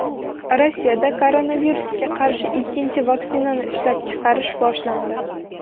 Rossiyada koronavirusga qarshi ikkinchi vaksinani ishlab chiqarish boshlandi.